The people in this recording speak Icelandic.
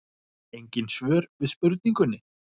Engin svör við spurningunni.